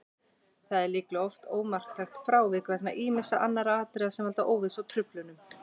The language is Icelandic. Það er líklega oft ómarktækt frávik vegna ýmissa annarra atriða sem valda óvissu og truflunum.